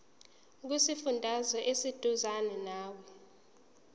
kusifundazwe oseduzane nawe